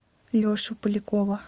лешу полякова